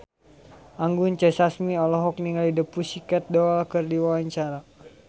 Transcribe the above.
Anggun C. Sasmi olohok ningali The Pussycat Dolls keur diwawancara